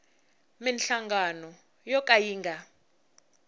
minhlangano yo ka yi nga